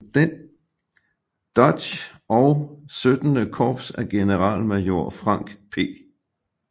Dodge og XVII Korps af generalmajor Frank P